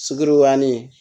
Suguruyan ni